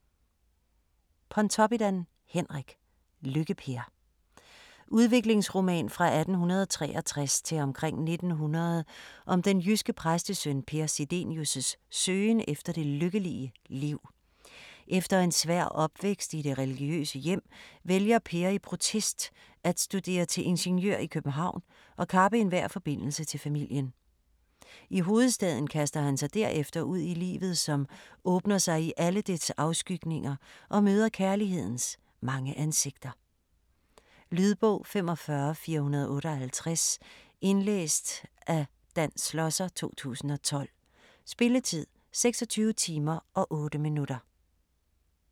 Pontoppidan, Henrik: Lykke-Per Udviklingsroman fra 1863 til omkring 1900 om den jyske præstesøn Per Sidenius' søgen efter det lykkelige liv. Efter en svær opvækst i det religiøse hjem vælger Per i protest at studere til ingeniør i København og kappe enhver forbindelse til familien. I hovedstaden kaster han sig derefter ud i livet som åbner sig i alle dets afskygninger og møder kærlighedens mange ansigter. Lydbog 45458 Indlæst af Dan Schlosser, 2012. Spilletid: 26 timer, 8 minutter.